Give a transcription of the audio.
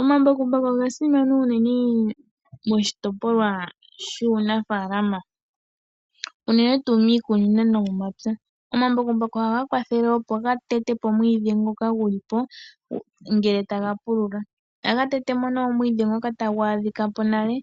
Omambakumbaku oga simana unene moshitopolwa shuunafaalama, unene tuu miikunino no momapya. Omambakumbaku ohaga kwathele opo ga tete po omwiidhi ngoka guli po ngele taga pulula. Ohaga tete mo nduno omwiidhi ngoka tagu adhika po nale,